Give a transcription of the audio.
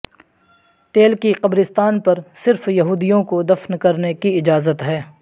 تیل کی قبرستان پر صرف یہودیوں کو دفن کرنے کی اجازت ہے